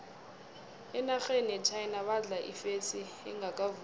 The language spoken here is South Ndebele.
enarheni yechina badla ifesi engakavuthwa